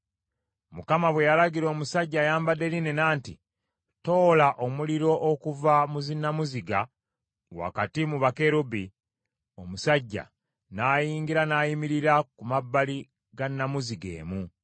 Mukama bwe yalagira omusajja ayambadde linena nti, “Toola omuliro okuva mu zinnamuziga, wakati mu bakerubi,” omusajja n’ayingira n’ayimirira ku mabbali ga nnamuziga emu.